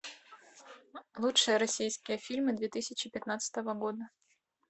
лучшие российские фильмы две тысячи пятнадцатого года